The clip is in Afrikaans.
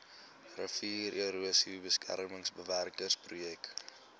riviererosie beskermingswerke projek